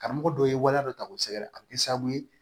Karamɔgɔ dɔ ye waleya dɔ ta k'o sɛgɛrɛ a bɛ kɛ sababu ye